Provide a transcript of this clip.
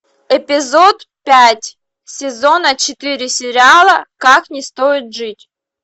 эпизод пять сезона четыре сериала как не стоит жить